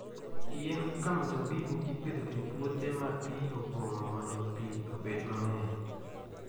Yien kaka mzabibu ipidho e puothe ma pi opong'o mondo pi obed mang'eny.